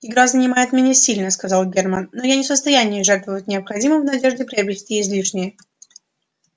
игра занимает меня сильно сказал германн но я не в состоянии жертвовать необходимым в надежде приобрести излишнее